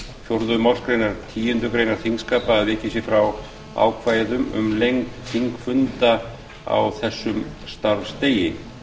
fjórðu málsgrein nítjánda grein þingskapa að vikið sé frá ákvæðum um lengd þingfunda á þessum starfsdegi